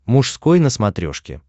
мужской на смотрешке